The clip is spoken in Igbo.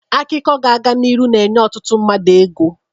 Akụkụ ga-aga n'iru na-enye ọtụtụ mmadụ ego.